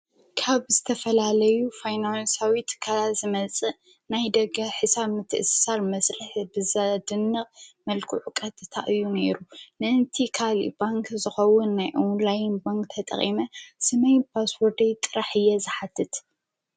ካብ ዝተፈላለዩ ፋይናንሳዊት ትካላት ዝመጽእ ናይ ደጋ ሕሳብ ትእሳር መጽለሕ ብዛ ድንቕ መልኩዑ ቓረተእታ እዩ ነይሩ ንእንቲ ኻል ባንክ ዝኸውን ናይ ዖንላይን ባንክ ተጠቐመ ሰመይ ጳስዎደይ ጥራሕ እየ ዝሓትት